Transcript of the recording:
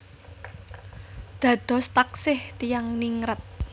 Dados taksih tiyang ningrat